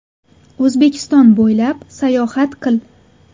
O‘zbekiston bo‘ylab sayohat qil.